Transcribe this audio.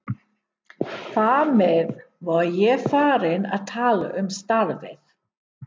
Þar með var ég farinn að tala um starfið.